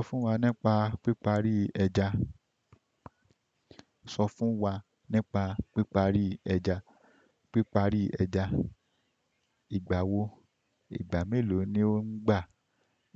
Sọ fún wa nípa píparí ẹja. Sọ fún wa nípa píparí ẹja. Píparí ẹja, ìgbà wo? Ìgbà mélòó ni o ń gbà?